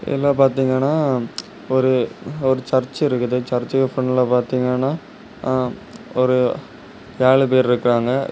இதுல பாத்திங்கன ஒரு ஒரு சர்ச் இருக்குது சர்ச்க்கு ஃபிராண்ட்ல பாத்திங்கன ஒரு ஏளு பேரு இருக்காங்க.